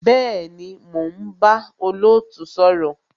Bẹẹni, mo ń bá olootu sọ̀rọ̀